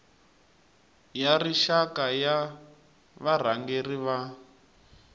ya rixaka ya varhangeri va